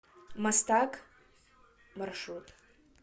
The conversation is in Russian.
мастак маршрут